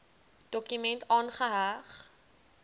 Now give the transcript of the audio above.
dokument aangeheg